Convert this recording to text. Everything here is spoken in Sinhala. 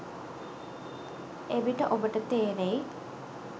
එවිට ඔබට තේරෙයි